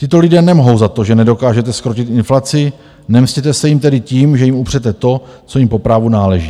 Tito lidé nemohou za to, že nedokážete zkrotit inflaci, nemstěte se jim tedy tím, že jim upřete to, co jim po právu náleží.